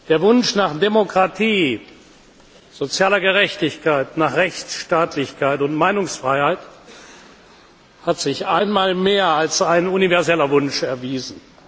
Der Wunsch nach Demokratie, sozialer Gerechtigkeit, Rechtsstaatlichkeit und Meinungsfreiheit hat sich einmal mehr als ein universeller Wunsch erwiesen.